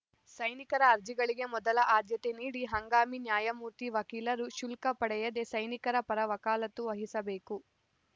ಸೈನಿಕರ ಅರ್ಜಿಗಳಿಗೆ ಮೊದಲ ಆದ್ಯತೆ ನೀಡಿ ಹಂಗಾಮಿ ನ್ಯಾಯಮೂರ್ತಿ ವಕೀಲರು ಶುಲ್ಕ ಪಡೆಯದೇ ಸೈನಿಕರ ಪರ ವಕಾಲತ್ತು ವಹಿಸಬೇಕು